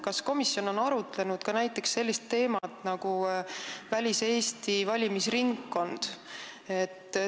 Kas komisjon on arutanud ka sellist teemat nagu väliseesti valimisringkond?